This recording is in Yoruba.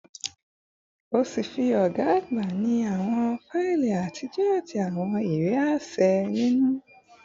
Ọfiisi ọga agba ni awọn faili atijọ ati awọn iwe aṣẹ ninu